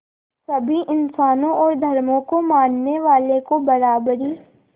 सभी इंसानों और धर्मों को मानने वालों को बराबरी